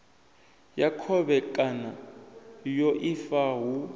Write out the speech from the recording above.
ya khovhekano ya ifa hu